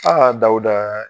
Aa Dawuda.